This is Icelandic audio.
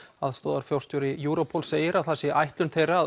aðstoðarforstjóri Europol segir að það sé ætlun þeirra